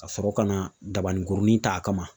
Ka sɔrɔ ka na dabanikurunin ta a kama.